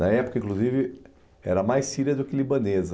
Na época, inclusive, era mais síria do que libanesa.